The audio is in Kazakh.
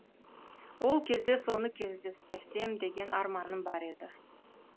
ол кезде соны кездестірсем деген арманым бар еді